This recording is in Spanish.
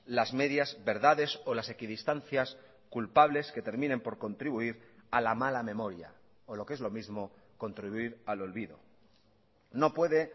las medias verdades o las equidistancias culpables que terminen por contribuir a la mala memoria o lo que es lo mismo contribuir al olvido no puede